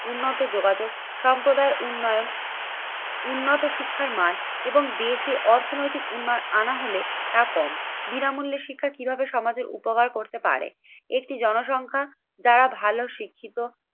উন্নত যোগাযোগ সম্প্রদায়ের উন্নয়ন উন্নত শিক্ষার মান এবং দেশে অর্থনৈতিক উন্নয়ন আনা হলে তা কম। বিনামূল্য শিক্ষা কিভাবে সমাজের উপকার করতে পারে? একটি জনসংখ্যা যারা ভালো শিক্ষিত